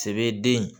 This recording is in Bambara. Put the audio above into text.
Sɛbd